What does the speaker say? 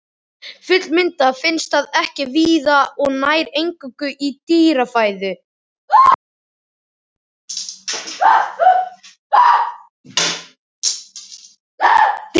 Fullmyndað finnst það ekki víða og nær eingöngu í dýrafæðu.